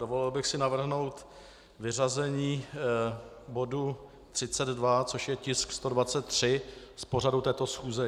Dovolil bych si navrhnout vyřazení bodu 32, což je tisk 123, z pořadu této schůze.